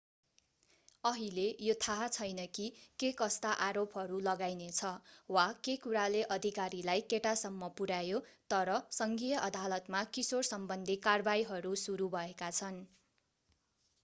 अहिले यो थाहा छैन कि केकस्ता आरोपहरू लगाइनेछ वा के कुराले अधिकारीलाई केटासम्म पुर्‍यायो तर सङ्घीय अदालतमा किशोरसम्बन्धी कारवाहीहरू सुरु भएका छन्।